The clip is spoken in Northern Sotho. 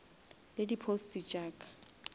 le di posts tša ka